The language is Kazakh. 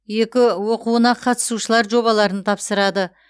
екі оқуына қатысушылар жобаларын тапсырады